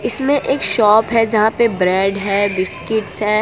इसमें एक शॉप है जहां पे ब्रेड है बिस्किट्स है।